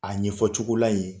A ɲɛfɔ cogo la yen,